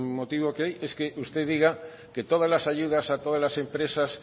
motivo que hay es que usted diga que todas las ayudas a todas las empresas